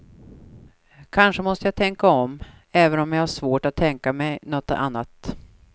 Kanske måste jag tänka om, även om jag har svårt att tänka mig något annat.